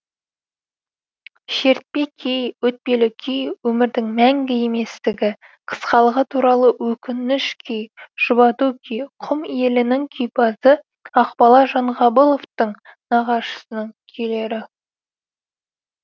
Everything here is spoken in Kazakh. шертпе күй өтпелі күй өмірдің мәңгі еместігі қысқалығы туралы өкініш күй жұбату күй құм елінің күйпазы ақбала жанғабыловтың нағашысының күйлері